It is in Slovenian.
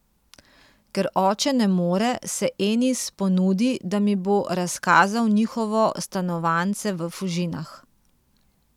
Ker oče ne more, se Enis ponudi, da mi bo razkazal njihovo stanovanjce v Fužinah.